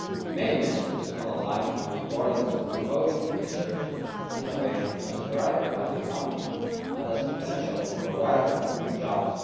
ERA. Many Ministers underlined the importance of promoting research and innovation as a driver of the economy and as potential provider of new jobs.